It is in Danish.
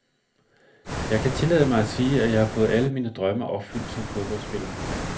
Jeg kan tillade mig at sige, at jeg har fået alle mine drømme opfyldt som fodboldspiller.